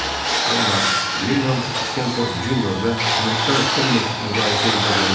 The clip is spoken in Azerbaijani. Amma Lilan Sdenford Junior və əməkdar Son mesk müqayisə edilə bilməz.